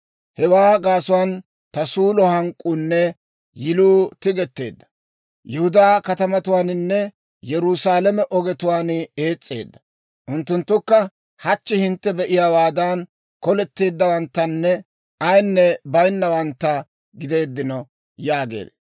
Hewaa gaasuwaan ta suulliyaa hank'k'uunne yiluu tigetteedda; Yihudaa katamatuwaaninne Yerusaalame ogetuwaan ees's'eedda. Unttunttukka hachchi hintte be'iyaawaadan, koletteeddawanttanne ayinne baynawantta gideedino› yaagee.